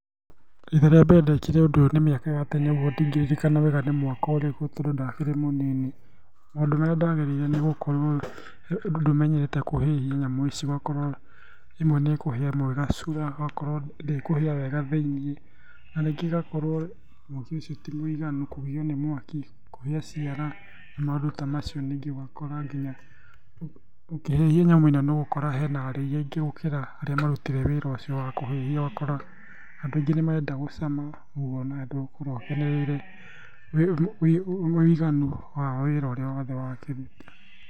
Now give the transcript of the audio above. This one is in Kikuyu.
Ihinda rĩa mbere ndekire ũndũ ũyũ nĩ mĩaka ya tene ũguo ndingĩririkana wega nĩ mwaka ũrĩkũ, tondũ ndakĩrĩ mũnini. Maũndũ marĩa ndagereire nĩgũkorwo ndũmenyete kũhĩhia nyamũ ici, ũgakorwo ĩmwe nĩkũhia ĩmwe ĩgacura, ũgakorwo ndĩkũhĩa wega thĩiniĩ, na rĩngĩ ĩgakorwo mwaki ũcio ti mũiganu, kũgiyo nĩ mwaki, kũhĩa ciara, maũndũ ta macio. Ningĩ ũgakora nginya ũkĩhĩhia nyamũ ĩ no nĩũgũkora he na arĩi aingĩ gũkĩra arĩa marutire wĩra ũcio wa kũhĩhia, ũgakora andũ aingĩ nĩmarenda gũcama ũguo na ndũgũkorwo ũkenereire wĩiganu wa wĩra ũrĩa wothe wakĩruta.